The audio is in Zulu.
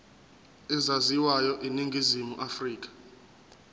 ezaziwayo eningizimu afrika